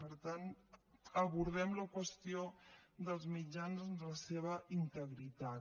per tant abordem la qüestió dels mitjans en la seva integritat